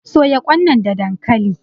soya Kwan nan da dankali?